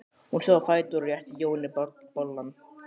Hún stóð á fætur og rétti Jóni bollann.